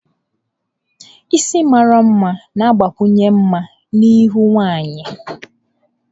Isi mara mma na-agbakwunye mma na ihu nwanyị.